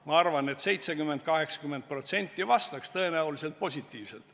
Ma arvan, et 70–80% vastaks tõenäoliselt positiivselt.